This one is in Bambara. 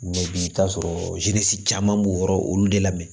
bi i bi t'a sɔrɔ caman b'o yɔrɔ olu de lamɛn